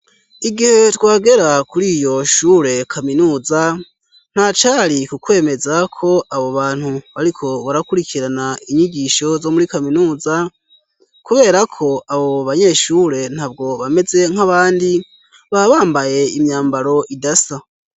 Igihe twagera kuri iyo shure kaminuza ntacari kukwemeza ko abo bantu ariko barakurikirana inyigisho zo muri kaminuza kubera ko abo banyeshure ntabwo bameze nk'abandi babambaye imyambaro idasa.